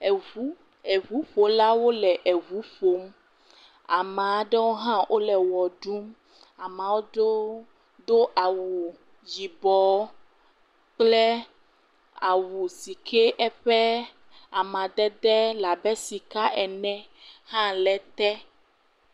Eŋu, eŋuƒolawo le eŋu ƒom, ama ɖewo hã wole wɔ ɖum, amaɖewo do awu yibɔ kple awu si ke eƒe amadede le abe sika ene hã le te.